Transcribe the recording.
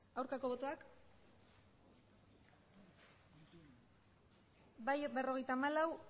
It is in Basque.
aurkako botoak emandako botoak hirurogeita hamabost bai berrogeita hamalau